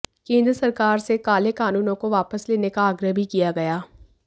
केंद्र सरकार से काले कानूनों को वापस लेने का आग्रह भी किया गया